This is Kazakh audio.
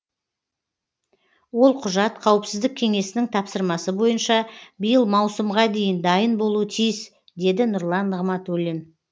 ол құжат қауіпсіздік кеңесінің тапсырмасы бойынша биыл маусымға дейін дайын болуы тиіс деді нұрлан нығматулин